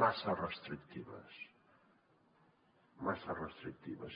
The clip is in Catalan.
massa restrictives massa restrictives